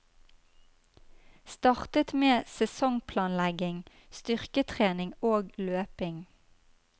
Startet med sesongplanlegging, styrketrening og løping.